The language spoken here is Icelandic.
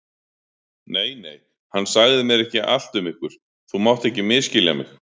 Nei, nei, hann sagði mér ekki allt um ykkur, þú mátt ekki misskilja mig.